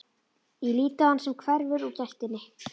Ég lít á hann sem hverfur úr gættinni.